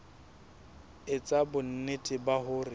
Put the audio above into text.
e etsa bonnete ba hore